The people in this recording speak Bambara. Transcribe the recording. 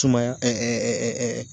Sumaya